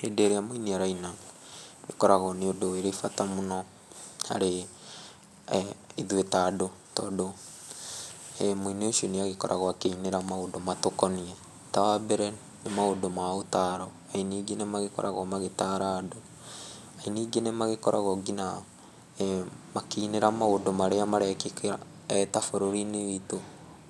Hindĩ ĩrĩa mũini araina ũkoragwo nĩ ũndũ ũrĩ bata mũno harĩ ithuĩ ta andũ, tondũ mũini ũcio nĩ agĩkoragwo akĩinĩra maũndũ matũkoniĩ. Ta wa mbere, nĩ maũndũ ma ũtaro, aini aingĩ nĩ magĩkoragwo magĩtaara andũ. Aini aingĩ nĩ magĩkoragwo ngĩnya makĩinĩra maũndũ marĩa marekĩka ta bũrũri-inĩ witu.